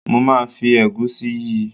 Mo máa fi ẹ̀gúsí yí i.